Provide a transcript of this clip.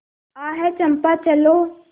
आह चंपा चलो